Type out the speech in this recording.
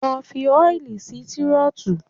Lọ fi oil sí Tírótù!